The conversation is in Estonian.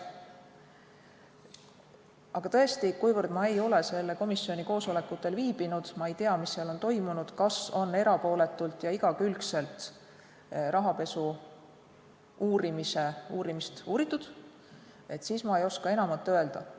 Aga tõesti, kuivõrd ma ei ole selle komisjoni koosolekutel viibinud, ma ei tea, mis seal on toimunud, kas on erapooletult ja igakülgselt rahapesu uurimise uurimist uuritud, siis ma ei oska enamat öelda.